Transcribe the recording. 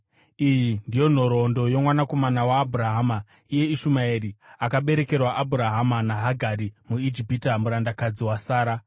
Iyi ndiyo nhoroondo yomwanakomana waAbhurahama, iye Ishumaeri, akaberekerwa Abhurahama naHagari muIjipita, murandakadzi waSara.